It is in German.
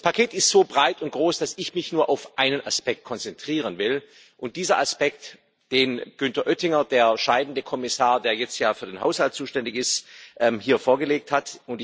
Das Paket ist so breit und groß, dass ich mich nur auf einen Aspekt konzentrieren will den Aspekt, den Günter Oettinger, der scheidende Kommissar, der jetzt ja für den Haushalt zuständig ist, hier vorgelegt hat.